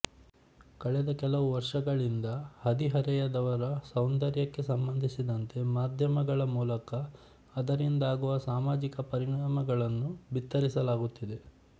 ಕಳೆದ ಕೆಲವು ವರ್ಷಗಳಿಂದ ಹದಿಹರೆಯದವರ ಸೌಂದರ್ಯಕ್ಕೆ ಸಂಬಂಧಿಸಿದಂತೆ ಮಾಧ್ಯಮಗಳ ಮೂಲಕ ಅದರಿಂದಾಗುವ ಸಾಮಾಜಿಕ ಪರಿಣಾಮಗಳನ್ನು ಬಿತ್ತರಿಸಲಾಗುತ್ತಿದೆ